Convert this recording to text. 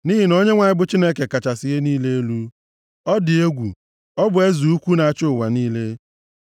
Nʼihi na Onyenwe anyị bụ Chineke kachasị ihe niile elu. Ọ dị egwu! Ọ bụ eze ukwu na-achị ụwa niile.